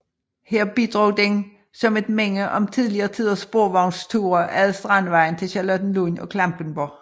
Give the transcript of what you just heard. Her bidrog den som et minde om tidligere tiders sporvognsture ad Strandvejen til Charlottenlund og Klampenborg